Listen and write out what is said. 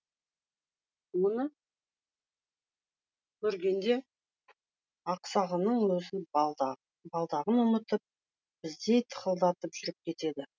оны көргенде ақсағының өзі балдағын ұмытып біздей тықылдатып жүріп кетеді